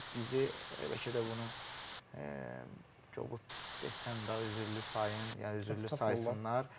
Bizi bəlkə də bunu qobud desəm də üzürlü sayın, ya üzürlü saysınlar.